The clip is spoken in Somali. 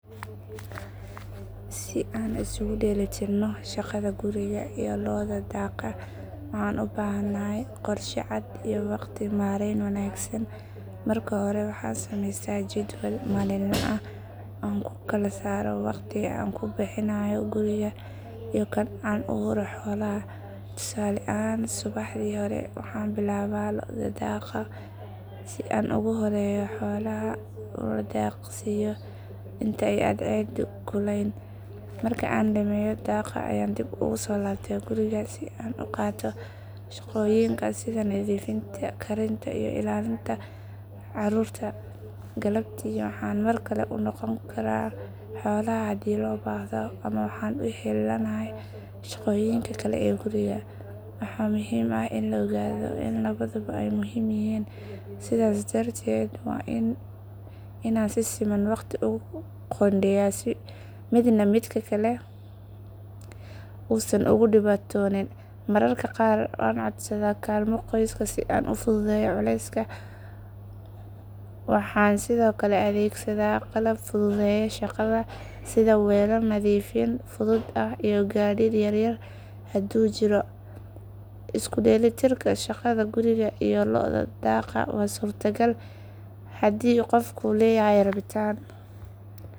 Si aan isugu dheelitirro shaqada guriga iyo loda daaqa waxaan u baahanahay qorshe cad iyo waqti maarayn wanaagsan. Marka hore waxaan samaystaa jadwal maalinle ah oo aan ku kala saaro waqtiga aan ku bixinayo guriga iyo kan aan u huro xoolaha. Tusaale ahaan, subaxdii hore waxaan bilaabaa loda daaqa, si aan ugu horreeyo xoolaha una daaqsiiyo inta ay cadceeddu kulayn. Marka aan dhammeeyo daaqa ayaan dib ugu soo laabtaa guriga si aan u qabto shaqooyinka sida nadiifinta, karinta iyo ilaalinta carruurta. Galabtii waxaan mar kale u noqon karaa xoolaha haddii loo baahdo ama waxaan u heellanahay shaqooyinka kale ee guriga. Waxa muhiim ah in la ogaado in labaduba ay muhiim yihiin sidaas darteed waa inaan si siman waqti ugu qoondeeyaa si midna midka kale uusan uga dhibtoon. Mararka qaar waan codsadaa kaalmo qoyska si aan u fududeeyo culayska. Waxaan sidoo kale adeegsadaa qalab fududeeya shaqada sida weelal nadiifin fudud ah iyo gaadiid yar yar haddii uu jiro. Isu dheelitirka shaqada guriga iyo loda daaqa waa suurtagal haddii qofku leeyahay rabitaan,